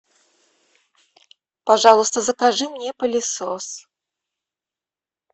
пожалуйста закажи мне пылесос